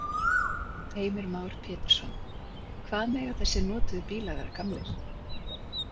Heimir Már Pétursson: Hvað mega þessir notuðu bílar vera gamlir?